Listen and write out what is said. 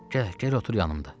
Gəl, gəl otur yanımda.